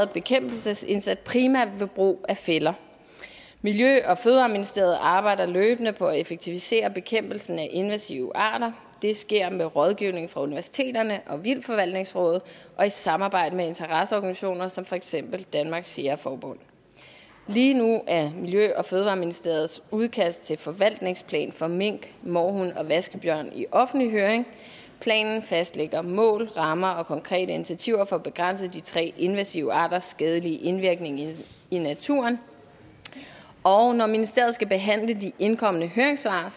bekæmpelsesindsats primært ved brug af fælder miljø og fødevareministeriet arbejder løbende på at effektivisere bekæmpelsen af invasive parter det sker med rådgivning fra universiteterne og vildtforvaltningsrådet og i samarbejde med interesseorganisationer som for eksempel danmarks jægerforbund lige nu er miljø og fødevareministeriets udkast til forvaltningsplan for mink mårhund og vaskebjørn i offentlig høring planen fastlægger mål rammer og konkrete initiativer for at begrænse de tre invasive arters skadelige indvirkning i naturen og når ministeriet skal behandle de indkomne høringssvar